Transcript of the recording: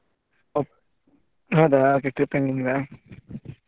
ಹೌದಾ